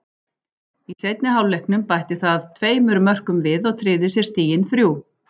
Í seinni hálfleiknum bætti það tveimur mörkum við og tryggði sér stigin þrjú.